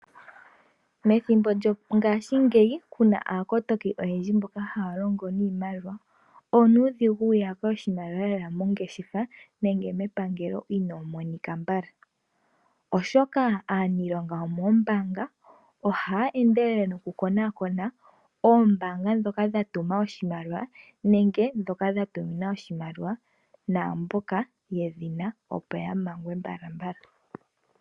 Methimbo lyongaashingeyi Kuna aakotoki oyendji, mboka haa longo niimaliwa, onuudhigu wu ya pe oshimaliwa, uuna yeya mongeshefa, nenge mepangelo ino monika mbala, oshoka aaniilonga yomoombaanga, oha ya endelele no ku konakona, oombaanga ndhoka dha tuma oshimaliwa nenge ndhoka dha tuminwa oshimaliwa, naamboka ye dhina opo ya mangwe mbalambala